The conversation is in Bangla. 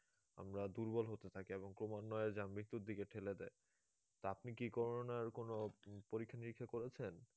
আমরা দুর্বল হতে থাকি এবং ক্রমান্বয়ে যা মৃত্যুর দিকে ঠেলে দেয় তো আপনি কি corona র কোনো পরীক্ষা নিরীক্ষা করেছেন